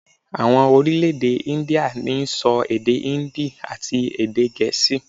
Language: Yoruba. Àwon Orílèdè Índíà n sọ èdè Híndì àti èdè gèésì